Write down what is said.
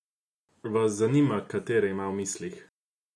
Vas zanima, katere ima v mislih?